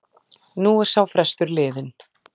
Nú er sá frestur liðinn.